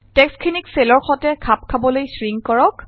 টেক্সটখিনিক চেলৰ সতে খাপ খোৱাবলৈ শ্ৰিংক কৰক